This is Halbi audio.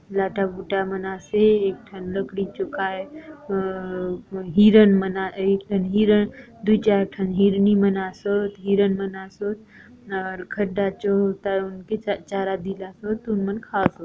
लाता बुड्डा मन आसे एक ठन लकड़ी जो काय अ हिरण एक ठन हिरण दु चार ठन हिरनि मन आ सोत हिरण मन आ सोत चारा दिलासोत तो उन मन खाए आसोत--